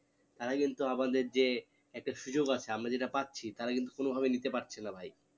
তারা কিন্তু আমাদের যে একটা সুযোগ আছে আমরা যেটা পাচ্ছি তারা কিন্তু কোনো ভাবে নিতে পাচ্ছে না ভাই